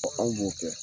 an b'o kɛ